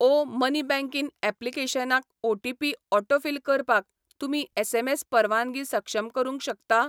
ओ money banking ऍप्लिकेशनाक OTP autofill करपाक तुमी एसएमएस परवानगी सक्षम करूंक शकता?